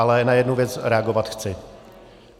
Ale na jednu věc reagovat chci.